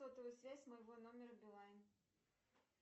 сотовая связь моего номера билайн